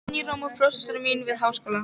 Páfinn í Róm og prófessorar mínir við Háskóla